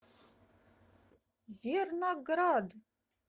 зерноград